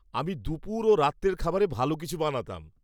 আমি দুপুর ও রাত্রের খাবারে ভাল কিছু বানাতাম।